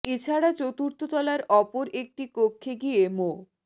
এ ছাড়া চতুর্থ তলার অপর একটি কক্ষে গিয়ে মো